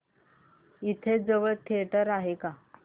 इथे जवळ थिएटर आहे का